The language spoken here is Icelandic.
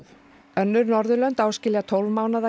önnur Norðurlönd áskilja tólf mánaða